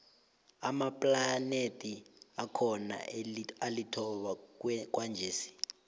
amaplanethi akhona alithoba kwanjesi